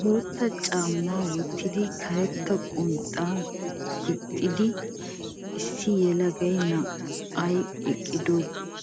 Bootta caammaa wottidi karetta qonxxa gixxida issi yelaga na'ay eqqido